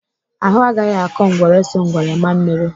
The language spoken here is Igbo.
Ahụ agaghị akọ ngwere so ngwere maa mmiri!